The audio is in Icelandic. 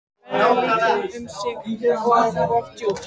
Þau eru venjulega lítil um sig og oft djúp.